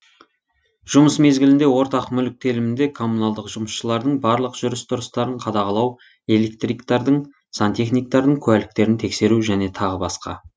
жұмыс мезгілінде ортақ мүлік телімінде коммуналдық жұмысшылардың барлық жүріс тұрыстарын қадағалау электриктардың сантехникатардың куәліктерін тексеру және тағы басқа